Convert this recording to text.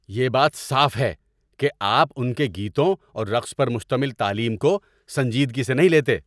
یہ بات صاف ہے کہ آپ ان کے گیتوں اور رقص پر مشتمل تعلیم کو سنجیدگی سے نہیں لیتے۔